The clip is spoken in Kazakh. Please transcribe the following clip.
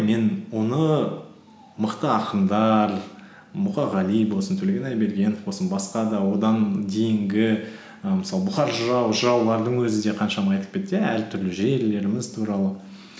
мен оны мықты ақындар мұқағали болсын төлеген айбергенов болсын басқа да одан дейінгі і мысалы бұхар жырау жыраулардың өзі де қаншама айтып кетті иә әртүрлі жерлеріміз туралы